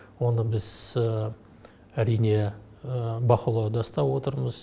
оны біз әрине бақылауда ұстап отырмыз